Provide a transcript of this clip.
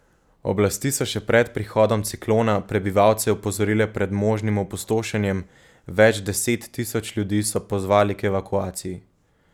Oblasti so še pred prihodom ciklona prebivalce opozorile pred možnim opustošenjem, več deset tisoč ljudi so pozvali k evakuaciji.